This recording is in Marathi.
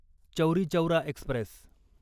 चौरी चौरा एक्स्प्रेस